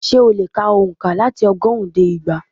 Ṣé o lè ka ònkà láti ọgọ́rùn-ún dé igba